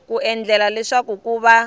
ku endlela leswaku ku va